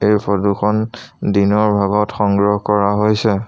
এই ফটো খন দিনৰ ভাগত সংগ্ৰহ কৰা হৈছে।